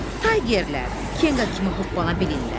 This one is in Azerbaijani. Taygerlər kenqa kimi hoppana bilirlər?